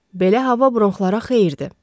Belə hava bronxlara xeyirdir.